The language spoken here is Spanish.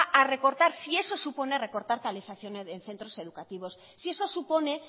a recortar si eso supone recortar calefacciones en centros educativos si eso supone